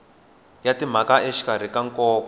ya timaraka exikarhi ka nkoka